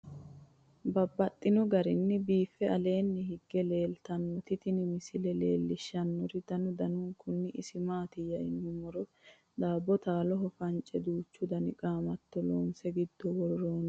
Babaxxittinno garinni biiffe aleenni hige leelittannotti tinni misile lelishshanori danu danunkunni isi maattiya yinummoro daabo taalloho fance duucha danna qaamatto loonse giddo woroonnotta